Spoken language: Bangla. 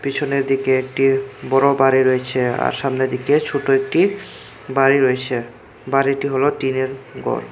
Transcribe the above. পিছনের দিকে একটির বড়বাড়ি রইছে আর সামনের দিকে ছোট একটি বাড়ি রইছে বাড়িটি হলো টিনের ঘর।